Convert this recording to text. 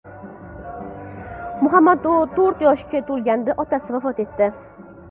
Muhammadu to‘rt yoshga to‘lganida otasi vafot etdi.